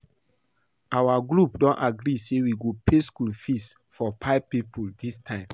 Our group don agree say we go pay school fees for five people dis term